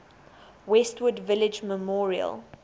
westwood village memorial